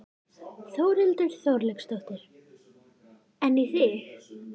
Þórhildur Þorkelsdóttir: En í þig?